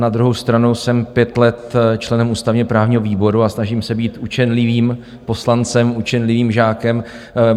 Na druhou stranu jsem pět let členem ústavně-právního výboru a snažím se být učenlivým poslancem, učenlivým žákem.